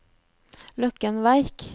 Løkken Verk